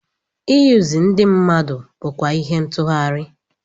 Iyuzu ndị mmadụ bụkwa ihe ntughari.